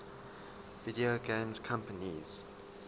video game companies